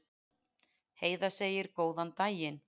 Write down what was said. Heiða segir góðan daginn!